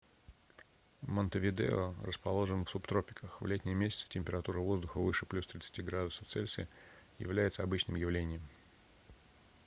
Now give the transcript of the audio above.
монтевидео расположен в субтропиках. в летние месяцы температура воздуха выше +30°с является обычным явлением